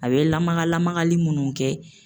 A bɛ lamaga lamagali munnu kɛ